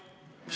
Absoluutselt!